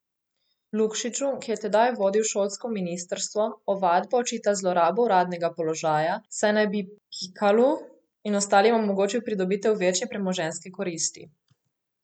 Lukšiču, ki je tedaj vodil šolsko ministrstvo, ovadba očita zlorabo uradnega položaja, saj naj bi Pikalu in ostalim omogočil pridobitev večje premoženjske koristi.